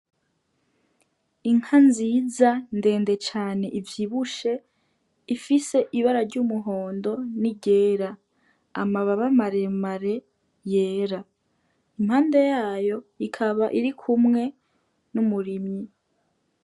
Inka nziza ndende cane ivyibushe ifise ibara ry'umuhondo n' iryera , amababa mare mare yera impande, yayo ikaba irikumwe n' umurimyi.